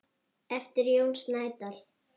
eftir Jón Snædal